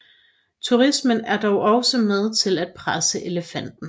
Turismen er dog også med til at presse elefanten